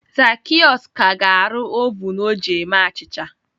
Zacheaus ka ga-arụ ovun o ji eme achịcha